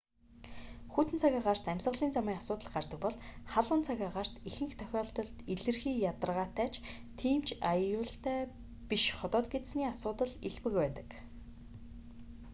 хүйтэн цаг агаарт амьсгалын замын асуудал гардаг бол халуун цаг агаарт ихэнх тохиолдолд илэрхий ядаргаатай ч тийм ч аюултай биш ходоод гэдэсний асуудал элбэг байдаг